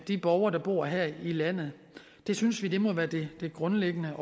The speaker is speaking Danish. de borgere der bor her i landet det synes vi må være det grundlæggende